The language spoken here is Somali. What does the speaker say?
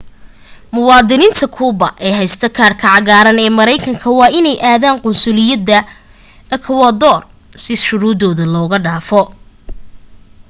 muwaadiniinta kuuba ee haysata kaadhka cagaaran ee maraykanka waa inay aadaan qunsuliyadda ekowodoor si shuruuddan looga dhaafo